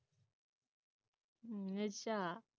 ਹਮ ਅੱਛਾ